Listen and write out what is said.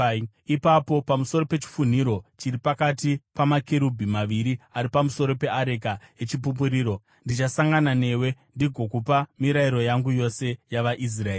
Ipapo, pamusoro pechifunhiro chiri pakati pamakerubhi maviri ari pamusoro peareka yeChipupuriro, ndichasangana newe ndigokupa mirayiro yangu yose yavaIsraeri.